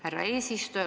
Härra eesistuja!